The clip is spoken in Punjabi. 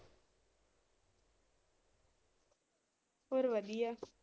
ਹੋਰ ਵਧੀਆ।